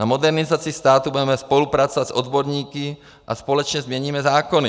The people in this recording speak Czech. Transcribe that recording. Na modernizaci státu budeme spolupracovat s odborníky a společně změníme zákony.